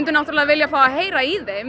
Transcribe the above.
náttúrulega vilja heyra í þeim